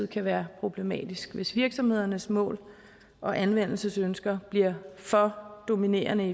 kan være problematisk hvis virksomhedernes mål og anvendelsesønsker bliver for dominerende